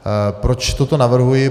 Proč toto navrhuji?